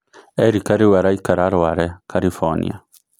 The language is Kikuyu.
Erika rĩu araikara Rware, Karibonia.